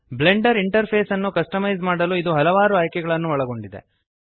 Blender interface ಅನ್ನು customise ಮಾಡಲು ಇದು ಹಲವಾರು ಆಯ್ಕೆಗಳನ್ನು ಒಳಗೊಂಡಿದೆ